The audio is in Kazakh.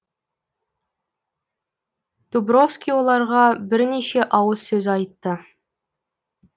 дубровский оларға бірнеше ауыз сөз айтты